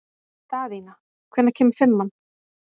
Daðína, hvenær kemur fimman?